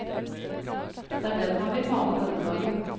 Det er den han vil male denne dagen.